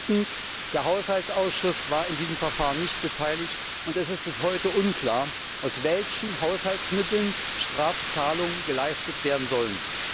Drittens Der Haushaltsausschuss war an diesem Verfahren nicht beteiligt, und es ist bis heute unklar, aus welchen Haushaltsmitteln Strafzahlungen geleistet werden sollen.